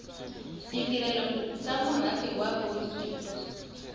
ditirelo tsa merafe ya bodit